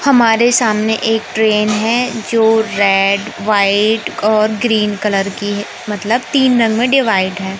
हमारे सामने एक ट्रेन है जो रेड व्हाइट और ग्रीन कलर की है मतलब तीन रंग में डिवाइड है।